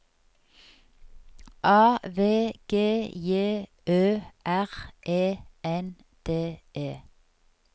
A V G J Ø R E N D E